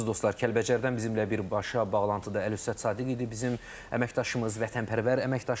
Əziz dostlar, Kəlbəcərdən bizimnən birbaşa bağlantıda Əlövsət Sadıq idi bizim əməkdaşımız, vətənpərvər əməkdaşımız.